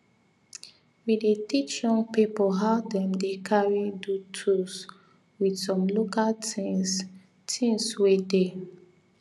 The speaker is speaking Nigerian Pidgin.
we dey teach young people how them dey carry do tools with some local things things wey dey